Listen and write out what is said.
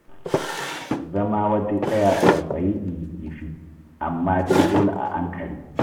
Zama waje ɗaya tsautsayi inji kifi, amma dai dole a ankare.